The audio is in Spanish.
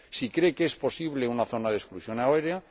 si cree que es posible una zona de exclusión aérea